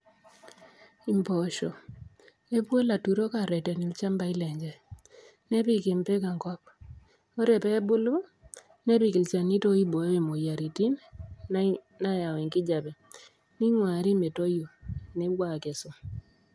Imboosbo kepuo laturok areten ilchambai lenye ,nepik impik enkop, ore peebulu nepik ilchanito oibooyo moyiaritin nayaki enkijape ,neaunyini metoi peepuo akesu.